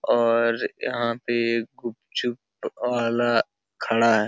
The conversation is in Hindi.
और यहाँ पे गुपचुप वाला खड़ा है।